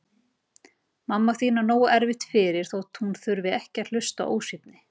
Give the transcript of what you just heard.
Mamma þín á nógu erfitt fyrir þótt hún þurfi ekki að hlusta á ósvífni.